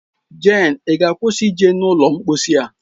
Jane, ị ga-akwụsị ije n'ụlọ mposi a!